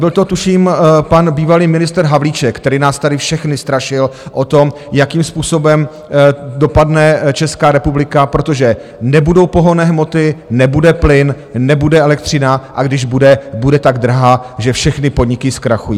Byl to tuším pan bývalý ministr Havlíček, který nás tady všechny strašil o tom, jakým způsobem dopadne Česká republika, protože nebudou pohonné hmoty, nebude plyn, nebude elektřina, a když bude, bude tak drahá, že všechny podniky zkrachují.